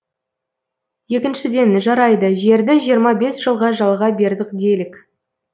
екіншіден жарайды жерді жиырма бес жылға жалға бердік делік